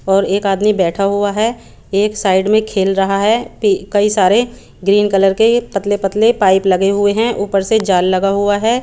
और एक आदमी बेठा हुआ है एक साइड में खेल रहा है कई सारे ग्रीन कलर के पतले पतले पाइप लगे हुए हैं ऊपर से झाल लगा हुआ है।